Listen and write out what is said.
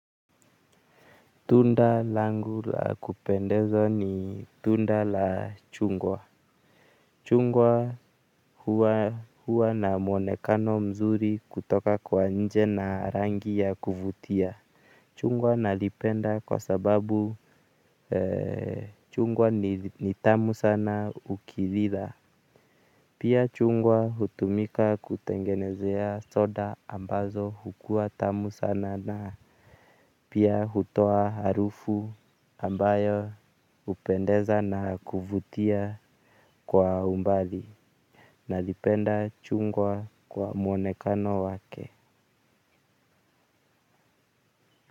Tunda langu la kupendeza ni tunda la chungwa. Chungwa huwa na mwonekano mzuri kutoka kwa nje na rangi ya kuvutia. Chungwa nalipenda kwa sababu chungwa ni tamu sana ukilila. Pia chungwa hutumika kutengenezea soda ambazo hukua tamu sana na pia hutoa harufu ambayo hupendeza na kuvutia kwa umbali. Nalipenda chungwa kwa mwonekano wake.